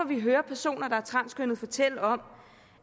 vi hører personer der er transkønnede fortælle om